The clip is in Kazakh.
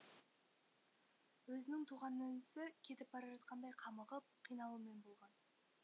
өзінің туған інісі кетіп бара жатқандай қамығып қиналумен болған